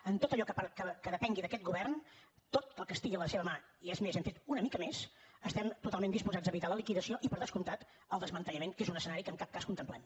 en tot allò que depengui d’aquest govern tot el que estigui a la seva mà i és més hem fet una mica més estem totalment disposats a evitar la liquidació i per descomptat el desmantellament que és un escenari que en cap cas contemplem